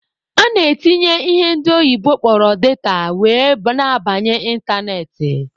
A na-etinye ihe ndị oyibo kpọrọ 'data' were na-abanye ịntanetị.